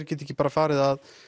geti ekki farið að